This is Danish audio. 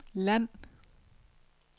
land